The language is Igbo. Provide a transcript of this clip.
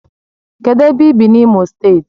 Kedu ebe i bi na Imo state?